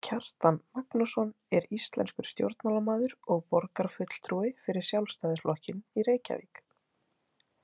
Kjartan Magnússon er íslenskur stjórnmálamaður og borgarfulltrúi fyrir Sjálfstæðisflokkinn í Reykjavík.